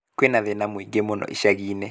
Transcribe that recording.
Kwĩna thĩna mũingĩ mũno ishagi-inĩ